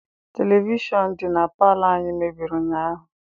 Televishọn di na palọ anyị mebiri ụnyaahụ.